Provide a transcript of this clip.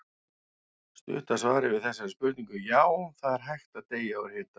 Stutta svarið við þessari spurningu er já, það er hægt að deyja úr hita.